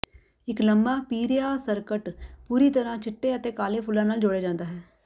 ਇੱਕ ਲੰਮਾ ਪੀਰਿਆ ਸਕਰਟ ਪੂਰੀ ਤਰ੍ਹਾਂ ਚਿੱਟੇ ਅਤੇ ਕਾਲੇ ਫੁੱਲਾਂ ਨਾਲ ਜੋੜਿਆ ਜਾਂਦਾ ਹੈ